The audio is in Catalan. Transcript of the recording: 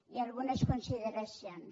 i algunes consideracions